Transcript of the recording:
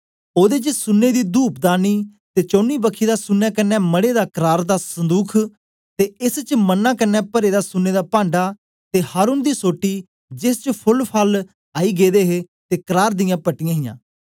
ओदे च सुन्ने दी धूपदानी ते चौनी बखी दा सुन्ने कन्ने मढ़े दा करार दा संदुख ते एस च मन्ना कन्ने परे दा सुन्ने दा पांढा ते हारून दी सोटी जेस च फोल फल आई गेदे हे ते करार दियां पट्टियां हियां